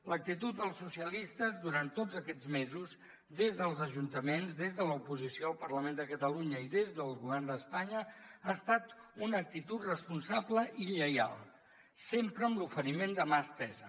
l’actitud dels socialistes durant tots aquests mesos des dels ajuntaments des de l’oposició al parlament de catalunya i des del govern d’espanya ha estat una actitud responsable i lleial sempre amb l’oferiment de mà estesa